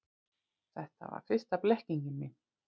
Þetta var fyrsta blekkingin mín.